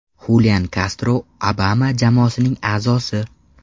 Xulian Kastro Obama jamoasining a’zosi.